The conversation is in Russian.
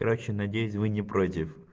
короче надеюсь вы не против